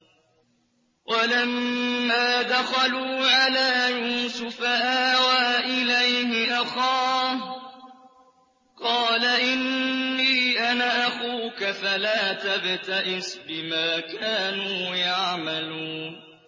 وَلَمَّا دَخَلُوا عَلَىٰ يُوسُفَ آوَىٰ إِلَيْهِ أَخَاهُ ۖ قَالَ إِنِّي أَنَا أَخُوكَ فَلَا تَبْتَئِسْ بِمَا كَانُوا يَعْمَلُونَ